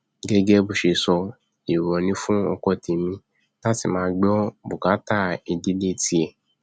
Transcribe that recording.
gẹgẹ bó ṣe sọ èèwọ ni fún ọkọ tẹmí láti máa gbọ bùkátà ìdílé tiẹ